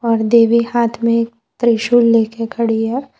और देवी हाथ में त्रिशूल लेके खड़ी है।